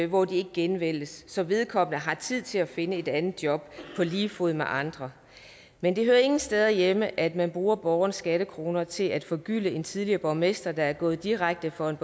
hvor de ikke genvælges så vedkommende har tid til at finde et andet job på lige fod med andre men det hører ingen steder hjemme at man bruger borgernes skattekroner til at forgylde en tidligere borgmester der er gået direkte fra et